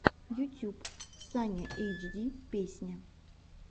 ютюб саня эйчди песня